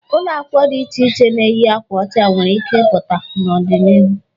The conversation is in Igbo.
Ụlọakwụkwọ dị iche na-eyi akwa ọcha nwere ike ịpụta ọdi n'ihu.